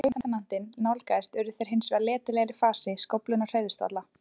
Þegar lautinantinn nálgaðist urðu þeir hins vegar letilegir í fasi, skóflurnar hreyfðust varla.